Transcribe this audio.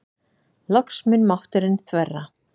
Loks mun mátturinn þverra.